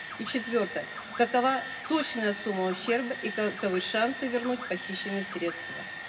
и четвертое какова точная сумма ущерба и каковы шансы вернуть похищенные средства